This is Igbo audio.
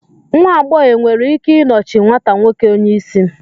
nwa agbọghọ e nwere ike nọchie nwata nwoke onye isi